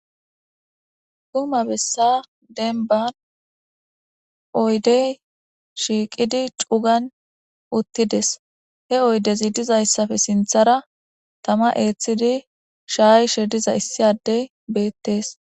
Xuma bessa dembba oydee shiiqidi cugan uththi des; he oydethi dizaysappe sinththara thama eeththidi shaayise dizay issa addee beeththees.